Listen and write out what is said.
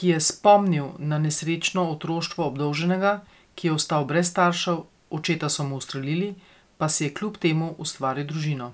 ki je spomnil na nesrečno otroštvo obdolženega, ki je ostal brez staršev, očeta so mu ustrelili, pa si je kljub temu ustvaril družino.